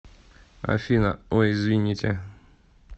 афина ой извините